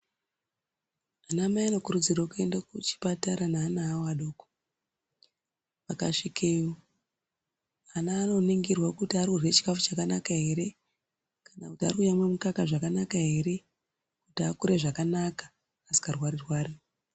Ana mai ano kurudzirwe kuenda ku chipatara ne ana awo adoko aka svikeyo ana ano ningirwa kuti ari kurya chikafu chakanaka ere kana kuti ari kuyamwa mukaka zvakanaka ere kuti akure zvakanaka asinga rwari rwari.